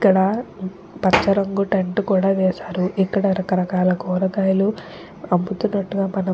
ఇక్కడ పచ్చ రంగు టెంట్ కూడా వేశారు ఇక్కడ రకరకాల కూరగాయలు అమ్ముతున్నట్టుగా మనము --